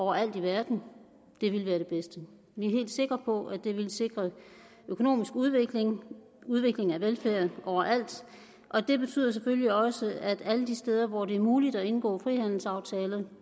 overalt i verden ville være det bedste vi er helt sikre på at det ville sikre økonomisk udvikling og udvikling af velfærd overalt og det betyder selvfølgelig også at alle de steder hvor det er muligt at indgå frihandelsaftaler